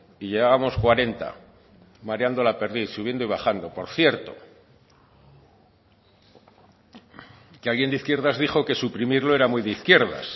y llevamos cuarenta mareando la perdiz subiendo y bajando por cierto que alguien de izquierdas dijo que suprimirlo era muy de izquierdas